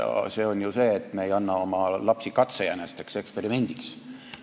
See oli ju see, et me ei anna oma lapsi katsejänesteks eksperimendi jaoks.